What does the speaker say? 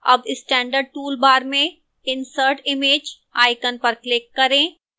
अब standard toolbar में insert image icon पर click करें